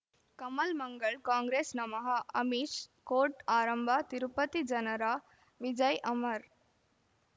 ಕಮಲ್ ಮಂಗಳ್ ಕಾಂಗ್ರೆಸ್ ನಮಃ ಅಮಿಷ್ ಕೋರ್ಟ್ ಆರಂಭ ತಿರುಪತಿ ಜನರ ವಿಜಯ್ ಅಮರ್